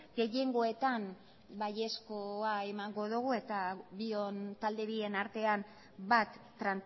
gehiengoetan baiezkoa emango dugu eta talde bien artean bat